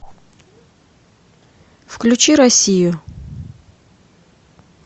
включи россию